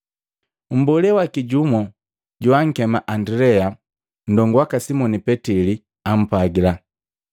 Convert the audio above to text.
Mbolee waki jumu joakema Andilea, ndongu waka Simoni Petili, ampwagila,